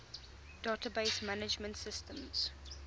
database management systems